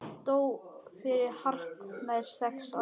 Dó fyrir hartnær sex árum.